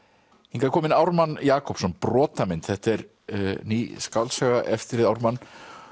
hingað er kominn Ármann Jakobsson þetta er ný skáldsaga eftir þig Ármann